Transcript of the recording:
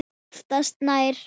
Oftast nær